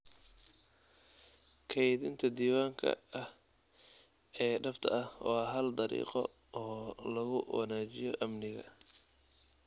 Kaydinta diwaanka ah ee dhabta ah waa hal dariiqo oo lagu wanaajiyo amniga.